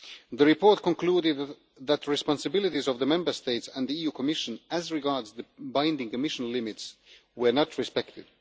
The report concluded that the responsibilities of the Member States and the Commission as regards the binding emission limits were not respected.